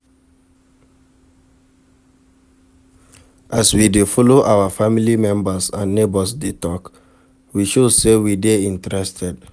As we de follow our family members and neigbours de talk, we show say we de interested